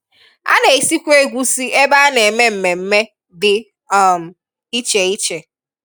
A na-esikwa egwusi ebe a na-eme mmemme dị um ịche ịche